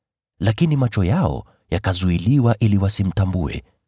lakini macho yao yakazuiliwa ili wasimtambue.